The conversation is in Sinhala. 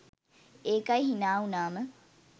ඒකයි හිනා වුනාම